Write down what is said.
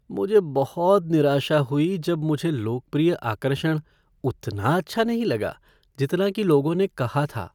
मुझे बहुत निराशा हुई जब मुझे लोकप्रिय आकर्षण उतना अच्छा नहीं लगा जितना कि लोगों ने कहा था।